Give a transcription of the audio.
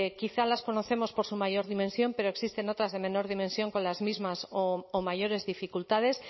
quizá las conocemos por su mayor dimensión pero existen otras de menor dimensión con las mismas o mayores dificultades